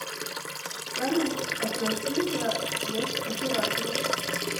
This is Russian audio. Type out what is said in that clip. салют оплати за связь оператору